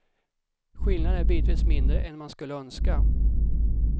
Skillnaden är bitvis mindre än man skulle önska.